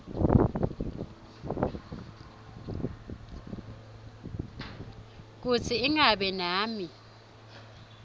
kutsi ingabe nami